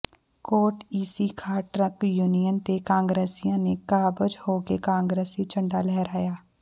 ਕੋਟ Ise Khan truck union ਤੇ ਕਾਂਗਰਸੀਆਂ ਨੇ ਕਾਬਜ਼ ਹੋ ਕੇ ਕਾਂਗਰਸੀ ਝੰਡਾ ਲਹਿਰਾਇਆ